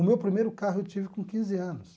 O meu primeiro carro eu tive com quinze anos.